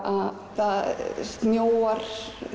að það snjóar